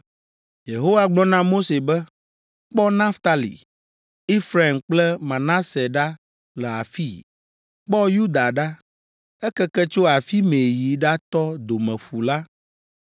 Yehowa gblɔ na Mose be, “Kpɔ Naftali, Efraim kple Manase ɖa le afii; kpɔ Yuda ɖa, ekeke tso afi mɛ yi ɖatɔ Domeƒu la.